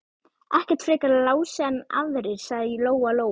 Ekkert frekar Lási en aðrir, sagði Lóa Lóa.